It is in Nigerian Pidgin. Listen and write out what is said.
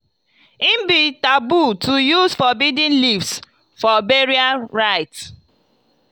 e be taboo to use forbidden leaves for burial rites.